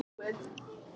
Þetta stenst alls ekki.